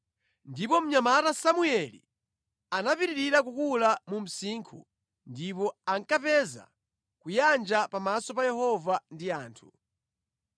Ndipo mnyamata Samueli anapitirira kukula mu msinkhu, ndipo ankapeza kuyanja pamaso pa Yehova ndi anthu.